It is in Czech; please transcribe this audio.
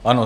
Ano.